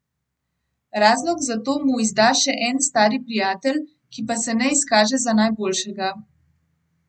Razlog za to mu izda še en stari prijatelj, ki pa se ne izkaže za najboljšega.